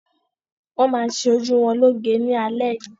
Wọn má ṣe ojú wọn lo'ge ni alẹ yìí.